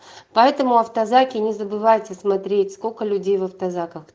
поэтому автозаки не забывайте смотреть сколько людей в автозаках